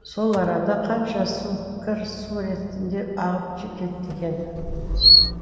сол арада қанша су кір су ретінде ағып кетті екен